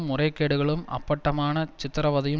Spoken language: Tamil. முறைகேடுகளும் அப்பட்டமான சித்திரவதையும்